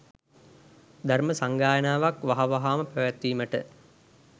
ධර්ම සංගායනාවක් වහවහාම පැවැත්වීමට